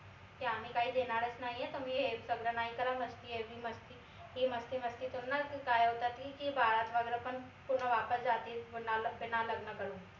की आम्ही काई देनारच नाई ए तुम्ही हे सगड नाई करा मस्ती एवढी मस्ती ही मस्ती मस्ती करून न काय होतात की बारात वगैरे पण पूर्ण वापस जाती बिना लग्न करून